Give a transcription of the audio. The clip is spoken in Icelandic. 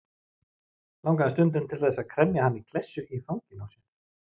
Langaði stundum til þess að kremja hana í klessu í fanginu á sér.